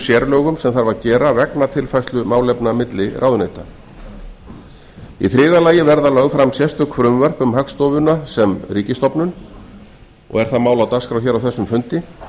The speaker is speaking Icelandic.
sérlögum sem þarf að gera vegna tilfærslu málefna milli ráðuneyta í þriðja lagi verða lögð fram sérstök frumvörp um hagstofuna sem ríkisstofnun og er það mál á dagskrá hér á þessum fundi